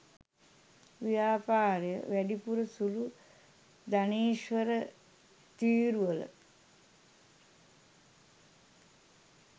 ව්‍යාපාරය වැඩිපුර සුළු ධනේශ්වර තීරුවල